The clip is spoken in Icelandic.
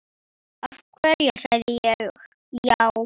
Af hverju sagði ég já?